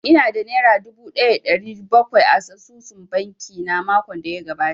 Ina da nera dubu ɗaya da ɗari bakwai a asusun banki na makon da ya gabata